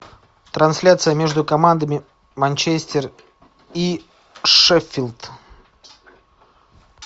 трансляция между командами манчестер и шеффилд